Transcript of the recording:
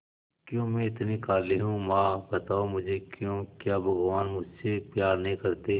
क्यों मैं इतनी काली हूं मां बताओ मुझे क्यों क्या भगवान मुझसे प्यार नहीं करते